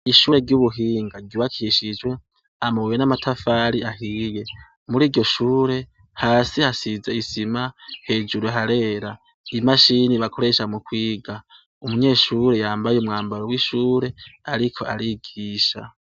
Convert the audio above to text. Ishure ry'ubuhinga ryubakishijwe amabuye n'amatafari ahiye. Muri iryo shure, hasi hasize isima, hejuru harera. Imashini bakoresha mu kwiga, umunyeshure yambaye umwambaro w'ishure ariko arigisha.